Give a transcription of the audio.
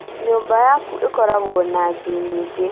Nyũmba yaku ĩkoragwo na ngi nyĩngĩ